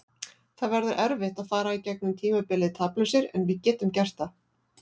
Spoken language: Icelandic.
Það verður erfitt að fara í gegnum tímabilið taplausir en við getum gert það.